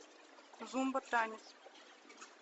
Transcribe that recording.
зомбо танец